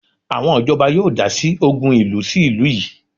Àwọn ìjọba yóò dásí ògùn ìlú sí ìlú yìí